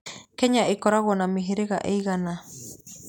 Kenya ĩkoragwo na mĩhĩrĩga ĩigana?